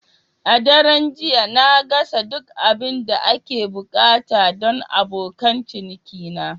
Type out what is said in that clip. A daren jiya, na gasa duk abin da ake buƙata don abokan cinikina.